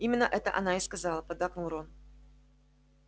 именно это она и сказала поддакнул рон